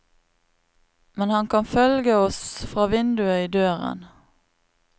Men han kan følge oss fra vinduet i døren.